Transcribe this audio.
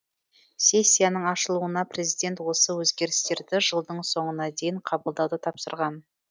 сессияның ашылуында президент осы өзгерістерді жылдың соңына дейін қабылдауды тапсырған